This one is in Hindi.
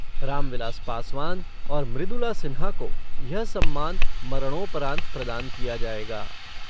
रामविलास पासवान और मृदुला सिन्हा को यह सम्मान मरणोपरांत प्रदान किया जायेगा।